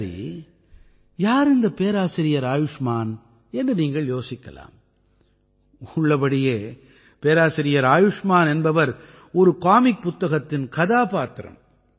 சரி யார் இந்த பேராசிரியர் ஆயுஷ்மான் என்று நீங்கள் யோசிக்கலாம் உள்ளபடியே பேராசிரியர் ஆயுஷ்மான் என்பவர் ஒரு காமிக் புத்தகத்தின் கதாபாத்திரம்